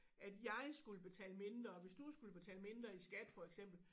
At jeg skulle betale mindre hvis du skulle betale mindre i skat for eksempel